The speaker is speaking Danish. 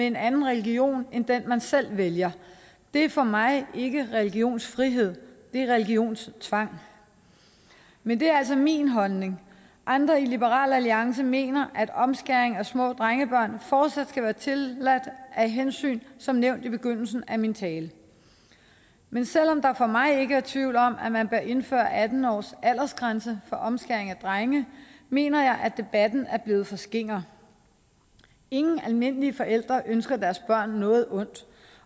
en anden religion end den man selv vælger det er for mig ikke religionsfrihed det er religionstvang men det er altså min holdning andre i liberal alliance mener at omskæring af små drengebørn fortsat skal være tilladt af hensyn som nævnt i begyndelsen af min tale men selv om der for mig ikke er tvivl om at man bør indføre en atten års aldersgrænse for omskæring af drenge mener jeg at debatten er blevet for skinger ingen almindelige forældre ønsker deres børn noget ondt